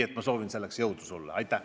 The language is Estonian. Soovin sulle selleks jõudu!